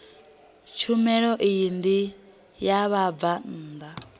tshumelo iyi ndi ya vhabvann